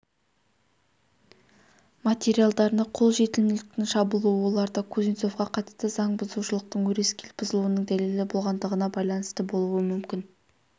материалдарына қолжетімділіктің жабылуы оларда кузнецовқа қатысты заң бұзушылықтың өрескел бұзылуының дәлелі болғандығына байланысты болуы мүмкін